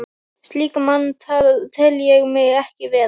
Slíkan mann tel ég mig ekki vera.